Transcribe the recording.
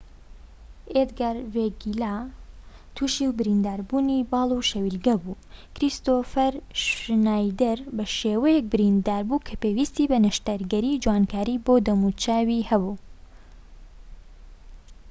ئێدگار ڤێگیلا توشی برینداربوونی باڵ و شەویلگە بوو کریستۆفەر شنایدەر بە شێوەیەك بریندار بوو کە پێویستی بە نەشتەرگەری جوانکاریی بۆ دەموچاو هەبوو